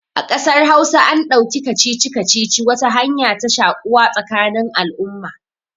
A ƙasar hausa an ɗauki kacici-kacici wata hanya ta shaƙuwa tsakanin al'umma